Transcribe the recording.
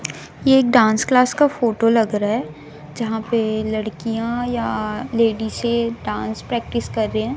ये एक dance class का फोटो लग रहा है जहाँ पे लड़कियाँ या लेडीसे डांस प्रेक्टिस कर रही हैं।